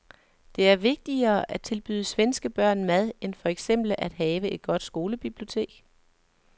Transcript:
Det er vigtigere at tilbyde svenske børn mad end for eksempel at have et godt skolebibliotek.